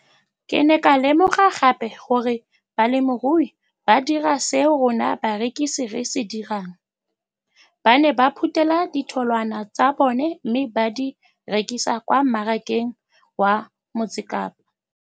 Ke ne ka lemoga gape gore balemirui ba dira seo rona barekisi re se dirang ba ne ba phuthela ditholwana tsa bona mme ba di rekisa kwa marakeng wa Motsekapa.